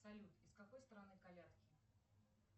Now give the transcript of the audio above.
салют из какой страны колядки